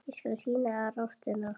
Ég skal sýna þér Ástina.